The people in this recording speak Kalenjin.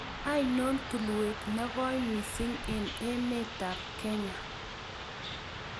Ainon tulwet ne goi miising' eng' emetap Kenya